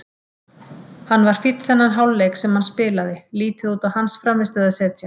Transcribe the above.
Hann var fínn þennan hálfleik sem hann spilaði, lítið út á hans frammistöðu að segja.